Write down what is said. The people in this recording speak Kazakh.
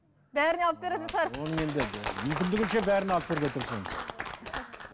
бәріне алып беретін шығарсыз оны енді мүмкіндігінше бәріне алып беруге тырысамыз